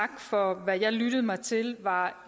for hvad jeg lyttede mig til var